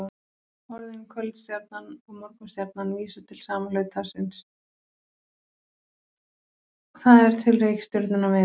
Orðin kvöldstjarnan og morgunstjarnan vísa til sama hlutarins, það er til reikistjörnunnar Venus.